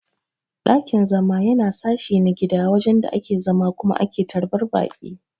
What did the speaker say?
Dakin-zama Yana sashi na gida wajen da ake zama Kuma ake tarban Baki.